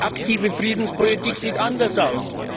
Aktive Friedenspolitik sieht anders aus!